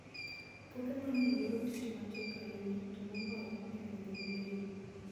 Puothe mang'eny dwaro tich matek ahinya, to moloyo e gwenge modhier.